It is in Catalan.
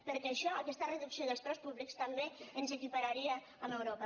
perquè això aquesta reducció dels preus públics també ens equipararia amb europa